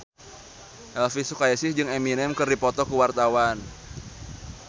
Elvi Sukaesih jeung Eminem keur dipoto ku wartawan